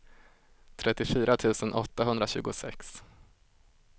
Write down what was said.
trettiofyra tusen åttahundratjugosex